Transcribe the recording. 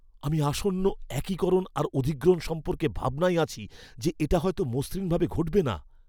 আমি আসন্ন একিকরণ আর অধিগ্রহণ সম্পর্কে ভাবনায় আছি যে এটা হয়তো মসৃণভাবে ঘটবে না।